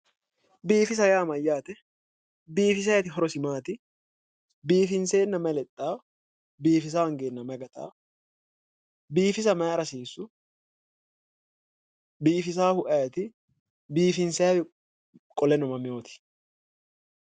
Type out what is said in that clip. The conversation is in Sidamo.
Biiffisa;-Biiffisa yaa mayaate biiffisayiti horosi maati biiffinseenna mayi lexawo biiffisa hoongeenna mayi xeaawo biiffisa mayira hasiissu biiffisaahu ayiti biiffinsayihhuno qole mamewoti